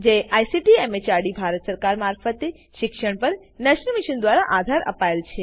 જેને ICT MHRD Bharat સરકાર મારફતે શિક્ષણ પર નેશનલ મિશન દ્વારા આધાર અપાયેલ છે